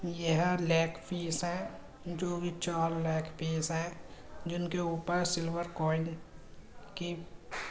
यह लेगपीस है जो ये चार लेगपीस हैं जिनके ऊपर स्लिवर कॉइन के --